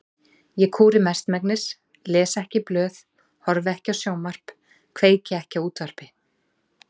Ég kúri mestmegnis, les ekki blöð, horfi ekki á sjónvarp, kveiki ekki á útvarpi.